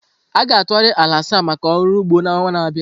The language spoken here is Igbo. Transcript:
A ga-atụgharị ala asaa maka ọrụ ugbo n'ọnwa na-abịa.